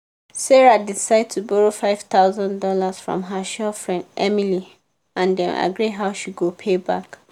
sarah decide to borrow five thousand dollars from her sure friend emily and dem agree how she go pay back.